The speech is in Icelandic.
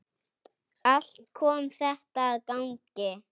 Allt kom þetta að gagni.